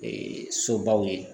Ee sobaw ye